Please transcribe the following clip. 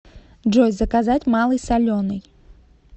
джой заказать малый соленый